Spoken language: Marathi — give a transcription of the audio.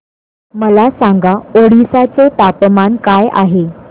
मला सांगा ओडिशा चे तापमान काय आहे